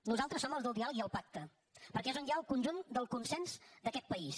nosaltres som els del diàleg i el pacte perquè és on hi ha el conjunt del consens d’aquest país